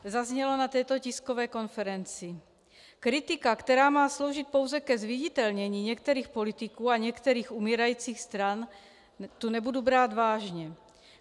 Zaznělo na této tiskové konferenci: "Kritika, která má sloužit pouze ke zviditelnění některých politiků a některých umírajících stran, tu nebudu brát vážně.